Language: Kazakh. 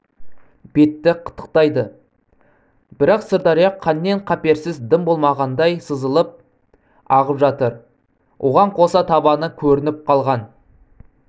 бетті қытықтайды бірақ сырдария қаннен-қаперсіз дым болмағандай сызылып ағып жатыр оған қоса табаны көрініп қалған